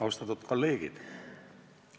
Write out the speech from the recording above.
Austatud kolleegid!